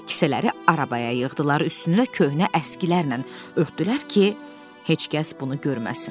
Kisələri arabaya yığdılar, üstünü köhnə əskilərlə örtdülər ki, heç kəs bunu görməsin.